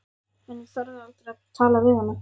En ég þorði aldrei að tala við hana.